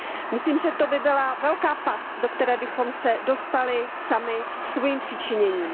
Myslím, že to by byla velká past, do které bychom se dostali sami svým přičiněním.